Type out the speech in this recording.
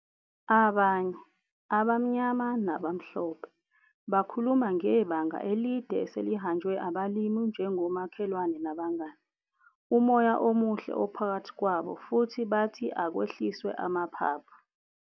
Abanye, abamnyama nabamhlophe, bakhuluma ngebanga elide eselihanjwe abalimi njengomakhelwane nabangani, umoya omuhle ophakathi kwabo futhi bathi akwehliswe amaphaphu.